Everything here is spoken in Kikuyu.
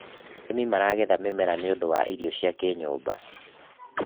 arĩmi maragetha mĩmera nĩũndũ wa irio cia kĩnyumba